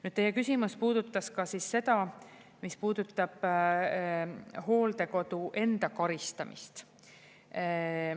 Nüüd, teie küsimus puudutas ka seda, mis puudutab hooldekodu enda karistamist.